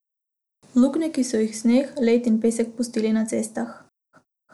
Luknje, ki so jih sneg, led in pesek pustili na cestah.